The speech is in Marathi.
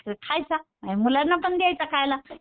तो खायचा आणि मुलांना पण द्यायचा खायला.